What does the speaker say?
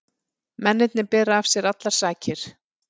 Mennirnir bera af sér allar sakir